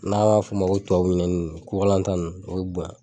N'a m'a fɔ o ma ko tubabu ɲinɛnin kurkalan dan ninnu olu bɛ bonya.